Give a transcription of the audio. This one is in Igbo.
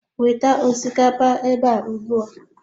Weta osikapa ebe a ugbu a